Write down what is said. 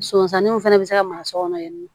Sosaniw fana bɛ se ka mara so kɔnɔ yan nɔ